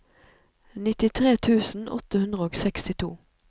nittitre tusen åtte hundre og sekstito